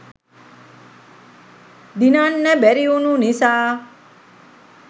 දිනන්න බැරිවුනු නිසා